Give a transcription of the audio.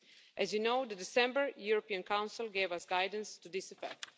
As you know, the December European Council gave us guidance to this effect.